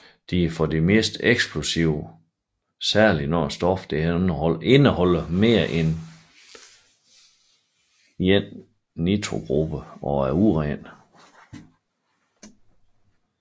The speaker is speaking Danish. De er ofte meget eksplosive særligt når stoffet indeholder mere end en nitrogruppe og er uren